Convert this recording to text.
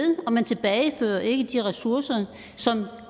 og man tilbagefører ikke de ressourcer som